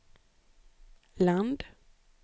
land